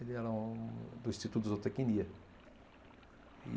Ele era do Instituto de Zootecnia.